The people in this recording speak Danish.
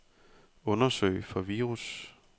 Undersøg for virus.